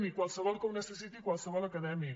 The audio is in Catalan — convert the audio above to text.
i qualsevol que ho necessiti qualsevol acadèmic